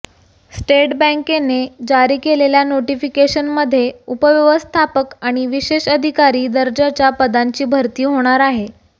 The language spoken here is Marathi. स्टेट बँकेने जारी केलेल्या नोटिफिकेशनमध्ये उपव्यवस्थापक आणि विशेष अधिकारी दर्जाच्या पदांची भरती होणार आहे